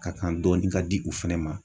Ka kan dɔɔni ka di u fɛnɛ ma.